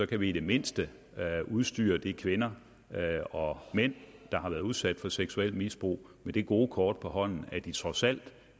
kan vi i det mindste udstyre de kvinder og mænd der har været udsat for seksuelt misbrug med det gode kort på hånden at de trods alt